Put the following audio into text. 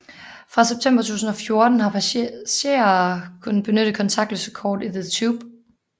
Fra september 2014 har passagerer kunne benytte kontaktløse kort i The Tube